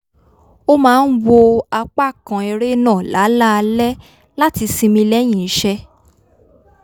ó máa ń wo apá kan eré náà láláalẹ́ láti sinmi lẹ́yìn iṣẹ́